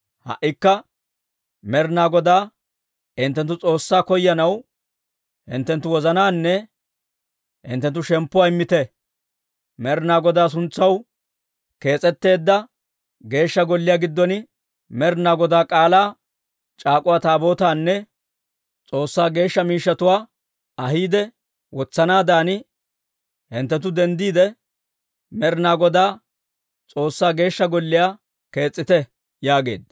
Ha"ikka Med'inaa Godaa hinttenttu S'oossaa koyanaw hinttenttu wozanaanne hinttenttu shemppuwaa immite. Med'inaa Godaa suntsaw kees'etteedda Geeshsha Golliyaa giddon Med'inaa Godaa K'aalaa c'aak'uwa Taabootaanne S'oossaa geeshsha miishshatuwaa ahiidde wotsanaadan, hinttenttu denddiide, Med'inaa Godaa S'oossaa Geeshsha Golliyaa kees's'ite» yaageedda.